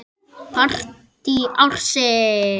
Partí ársins?